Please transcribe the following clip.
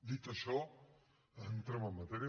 dit això entrem en matèria